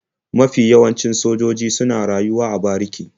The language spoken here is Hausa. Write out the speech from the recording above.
Mafi yawancin sojoji suna rayuwa a bariki.